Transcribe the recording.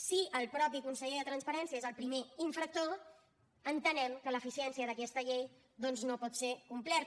si el mateix conseller de transparència és el primer infractor entenem que la eficiència d’aquesta llei doncs no pot ser complerta